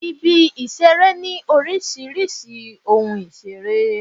Ibi-ìṣeré ní oríṣiríṣi ohun ìṣeré.